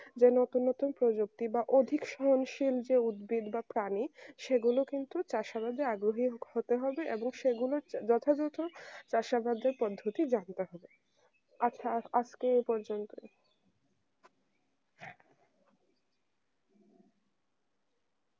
যে নতুন নতুন প্রযুক্তি বা অধিক স্বয়ং শিল্পের উদ্ভিদ বা প্রাণী সেগুলো কিন্তু তার সমাজের আগ্রহহিক সামাজিক হতে হবে এবং সেগুলো যথাযথ তার সাহায্যে পদ্ধতি জানতে হবে আচ্ছা আজকে এই পর্যন্তই